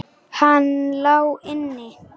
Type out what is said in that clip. Hann lá inni!